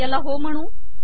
ह्याला हो म्हणू